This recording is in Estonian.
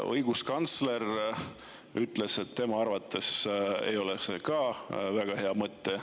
Õiguskantsler ütles, et tema arvates ei ole see väga hea mõte.